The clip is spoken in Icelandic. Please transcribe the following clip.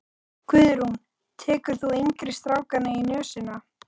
Guðrún: Tekur þú yngri strákana í nösina?